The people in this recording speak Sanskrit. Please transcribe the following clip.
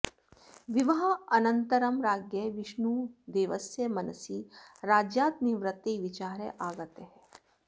विवाहानन्तरं राज्ञः विष्णुदेवस्य मनसि राज्यात् निवृत्तेः विचारः आगतः